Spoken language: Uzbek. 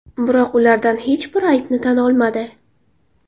Biroq ulardan hech biri aybini tan olmadi.